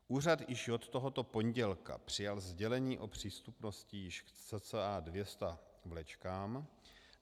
Úřad již od tohoto pondělí přijal sdělení o přístupnosti již k cca 200 vlečkám.